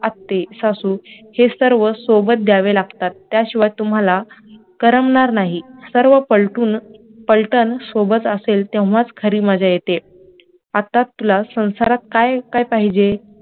आत्ये सासू हे सर्व सोबत द्यावे लागतात त्याशिवाय तुम्हाला कर्मणार नाही, सर्व पालटून पळतां सोबत असेल तेव्हाच खरी मजा येते आता तुला संसारात काय काय पाहिजे